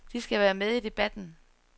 De skal være med i debatten.